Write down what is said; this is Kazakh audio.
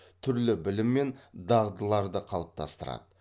түрлі білім мен дағдыларды калыптастырады